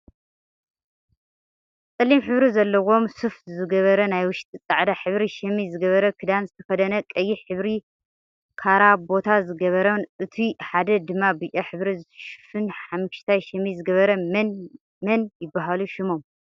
ፀሊም ሕብሪ ዘለዎም ሱፍ ዝገበረ ናይ ውሽጢ ፃዕዳ ሕብሪ ሸሚዝ ዝገበረ ክዳን ዝተከደነ ቀይሕ ሕብሪ ካራቦታ ዝገበረን እቱይ ሓደ ድማ ብጫ ሕብሪ ሱፍን ሓሚክሽታ ሸሚዝ ዝገበረ መን መን ይብሃሉ ሽሞም?